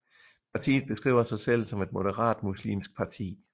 Partiet beskriver sig selv som et moderat muslimsk parti